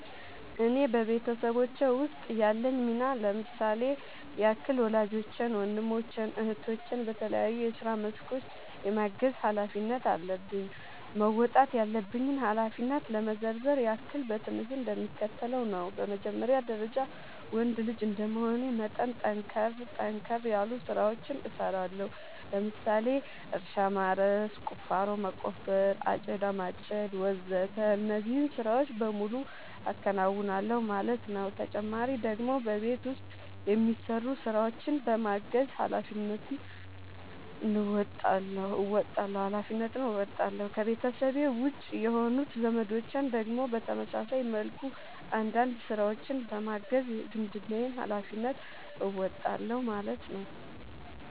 እኔ በቤተሰቦቼ ውስጥ ያለኝ ሚና ለምሳሌ ያክል ወላጆቼን ወንድሞቼን እህቶቼን በተለያዩ የስራ መስኮች የማገዝ ኃላፊነት አለብኝ። መወጣት ያለብኝን ኃላፊነት ለመዘርዘር ያክል በትንሹ እንደሚከተለው ነው በመጀመሪያ ደረጃ ወንድ ልጅ እንደመሆኔ መጠን ጠንከር ጠንከር ያሉ ስራዎችን እሰራለሁ ለምሳሌ እርሻ ማረስ፣ ቁፋሮ መቆፈር፣ አጨዳ ማጨድ ወዘተ እነዚህን ስራዎች በሙሉ አከናውናል ማለት ነው ተጨማሪ ደግሞ በቤት ውስጥ የሚሰሩ ስራዎችን በማገዝ ሃላፊነትን እንወጣለሁ። ከቤተሰቤ ውጪ የሆኑት ዘመዶቼን ደግሞ በተመሳሳይ መልኩ አንዳንድ ስራዎችን በማገዝ የዝምድናዬን ሀላፊነት እወጣለሁ ማለት ነው